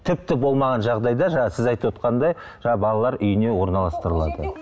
тіпті болмаған жағдайда жаңағы сіз айтып отырғандай жаңағы балалар үйіне орналастырылады